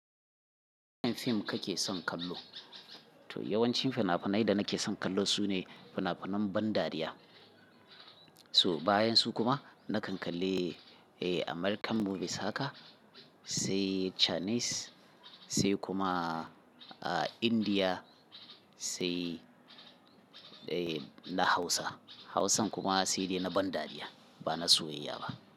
Wane fim kake son kallo? To yawancin fina-finai da nake son kallo su ne fina-finan ban dariya. So bayan su kuma nakan kalle, eh, American movies haka sai Chinese sai kuma, ah, India sai, eh, na Hausa. Hausan kuma sai dai na ban dariya ba na soyayya ba.